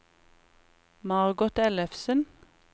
Margot Ellefsen